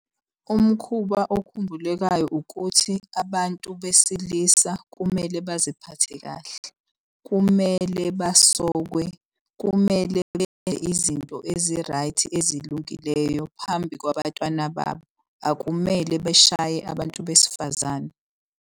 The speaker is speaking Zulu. Umkhuba okhumbulekayo ukuthi abantu besilisa kumele baziphathe kahle. Kumele basokwe, kumele benze izinto ezi-right ezilungileyo phambi kwabatwana babo. Akumele beshaye abantu besifazane.